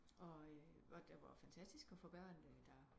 Og hvor det var fantastisk at få børn der